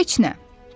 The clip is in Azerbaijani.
Heç nə.